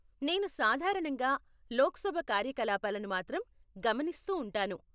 నేను సాధారణంగా లోక్సభ కార్యకలాపాలను మాత్రం గమనిస్తూ ఉంటాను.